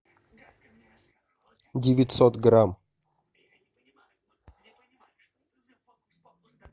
девятьсот грамм